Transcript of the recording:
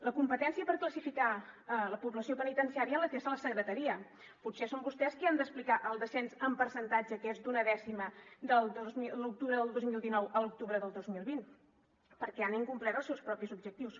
la competència per classificar la població penitenciària la té la secretaria potser són vostès qui han d’explicar el descens en percentatge que és d’una dècima de l’octubre del dos mil dinou a l’octubre del dos mil vint perquè han incomplert els seus propis objectius